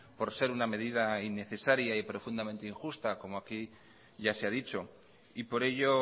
por ser una medida innecesaria y profundamente injusta como aquí ya se ha dicho y por ello